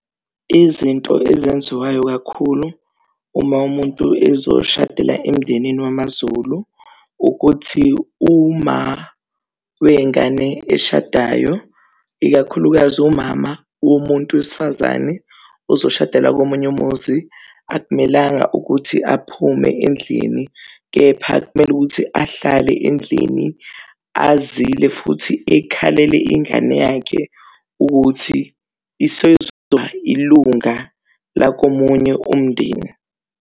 Izinto ezenziwayo kakhulu uma umuntu ezoshadela emndenini wamazulu ukuthi wengane eshadayo, ikakhulukazi umama womuntu wesifazane ozoshadela komunye umuzi akumelanga ukuthi aphume endlini, kepha kumele ukuthi ahlale endlini azile futhi ekhalele ingane yakhe ukuthi isizoba ilunga lakomunye umndeni.